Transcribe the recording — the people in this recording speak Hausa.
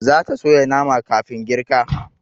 Zata soya nama kafin girka